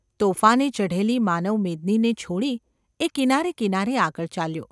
તોફાને ચઢેલી માનવમેદનીને છોડી એ કિનારે કિનારે આગળ ચાલ્યો.